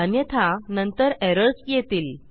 अन्यथा नंतर एरर्स येतील